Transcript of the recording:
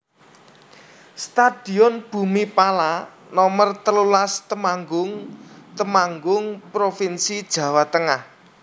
Stadion Bhumi Phala Nomer telulas Temanggung Temanggung provinsi Jawa Tengah